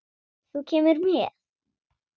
Þú kemur með.